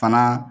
Fana